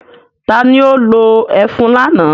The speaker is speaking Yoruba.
Ta ni ó lo ẹfun lánàá?